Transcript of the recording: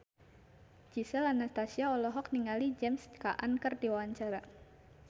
Gisel Anastasia olohok ningali James Caan keur diwawancara